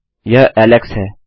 यह एलेक्स है